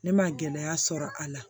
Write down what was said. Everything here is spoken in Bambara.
Ne ma gɛlɛya sɔrɔ a la